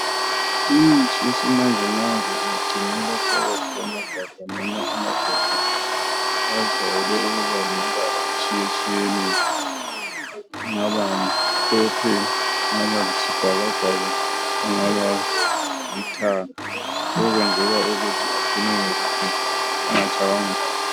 Imithi yesimanje manje ingcinelwa phakathi kwamagabha kumbe amabhokisi ajayele ukuba lemibala etshiye tshiyeneyo kungabamhlophe kungaba yibhaka bhaka lokhu kwenzelwa ukuthi abemhlophe engatshaywa ngumoya